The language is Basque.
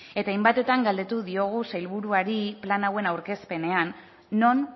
eta hainbatetan galdetu diogu sailburuari plan hauen aurkezpenean non